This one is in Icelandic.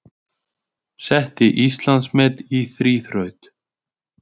Setti Íslandsmet í þríþraut